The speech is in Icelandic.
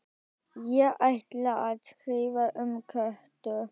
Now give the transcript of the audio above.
Ég ætla að skrifa um Kötu